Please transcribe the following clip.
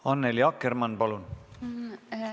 Annely Akkermann, palun!